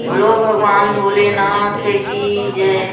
बोलो भगवान भोलेनाथ की जय।